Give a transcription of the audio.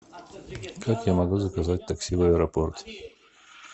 как я могу заказать такси в аэропорт